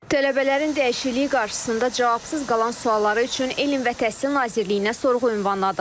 Tələbələrin dəyişikliyi qarşısında cavabsız qalan sualları üçün Elm və Təhsil Nazirliyinə sorğu ünvanladıq.